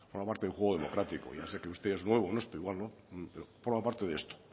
forma parte de juego democrático ya sé que usted es nuevo en esto igual no pero forma parte de esto